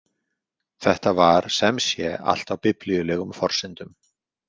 Þetta var semsé allt á biblíulegum forsendum.